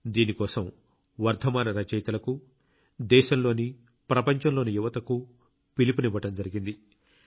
దీని కోసం వర్ధమాన రచయితలకు దేశంలోని ప్రపంచంలోని యువతకు పిలుపునివ్వడం జరిగింది